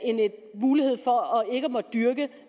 måtte dyrke